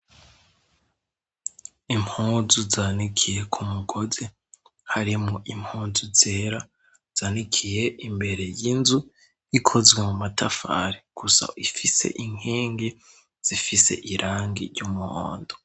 Impunzu zanikiye ku mugozi harimo impunzu zera zanikiye imbere y'inzu ikozwe mu matafari gusa ifise inkenge zifise irangi ry'umuhondo.